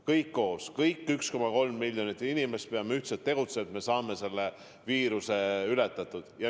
Kõik me 1,3 miljonit inimest peame ühiselt tegutsema, et saaksime selle viiruse ületatud.